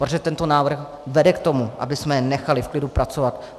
Protože tento návrh vede k tomu, abychom je nechali v klidu pracovat.